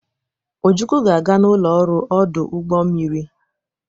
Ojukwu ga-aga n'ụlọ ọrụ ọdụ ụgbọ mmiri.